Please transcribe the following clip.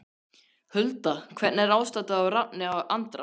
Hulda Hvernig er ástandið á Rafni Andra?